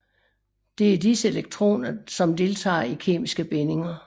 Det er disse elektroner som deltager i kemiske bindinger